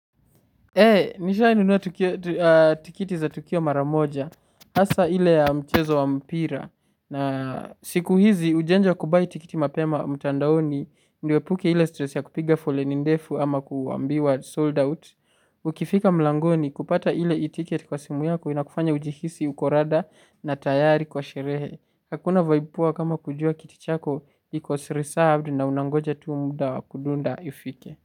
Nishainunua tikiti za tukio mara moja, hasa ile ya mchezo wa mpira, na siku hizi ujanja wa kubuy tikiti mapema mtandaoni, niepuke ile stress ya kupiga foleni ndefu ama kuambiwa sold out, ukifika mlangoni kupata ile e-ticket kwa simu yako inakufanya ujihisi, uko rada na tayari kwa sherehe, hakuna vibe poa kama kujua kiti chako iko reserved na unangoja tu muda kudunda ifike.